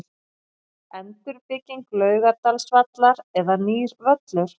Endurbygging Laugardalsvallar eða nýr völlur?